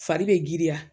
Fari bɛ giriya